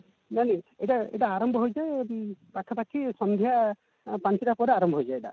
ନାଇଁ ନାଇଁ ଏଟା ଏଟା ଆରମ୍ଭ ହୋଇଥାଏ ପାଖାପାଖି ସନ୍ଧ୍ୟା ପଞ୍ଚଟା ପରେ ଆରମ୍ଭ ହୋଇଯାଏ ଏଟା